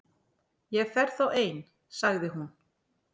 Ég fer þá ein- sagði hún.